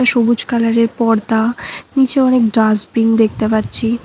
সবুজ কালারের পর্দা নীচে অনেক ডাস্টবিন দেখতে পাচ্ছি।